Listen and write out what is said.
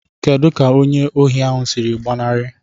Kedu ka onye ohi ahụ siri gbanarị?